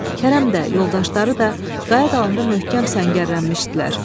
Kərəm də, yoldaşları da qaya dalında möhkəm səngərlənmişdilər.